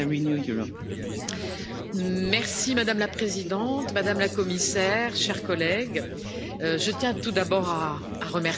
Madame la Présidente, Madame la Commissaire, chers collègues, je tiens tout d'abord à remercier Mme Tom pour cet excellent rapport.